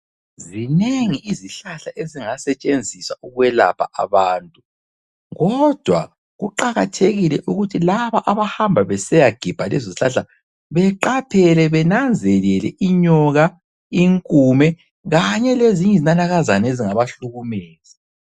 Zinengi izihlahla ezingasetshenziswa ukwelapha abantu kodwa kuqakathekile ukuthi laba abahamba besiyagebha lezozihlahla beqaphele benanzelele inyoka, inkume kanye lezinye izinanakazana ezingabahlukumeza.